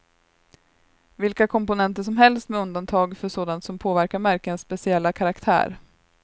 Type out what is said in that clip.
Vilka komponenter som helst med undantag för sådant som påverkar märkenas speciella karaktär.